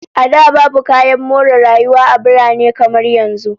A da, babu kayan more rayuwa a birane kamar yanzu